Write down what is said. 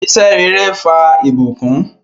Iṣẹ̀ rẹ̀rẹ̀ fà ibùkún